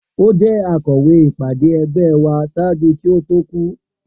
O jẹ akọwe ipade ẹgbẹ wa ṣaaju ki o to ku.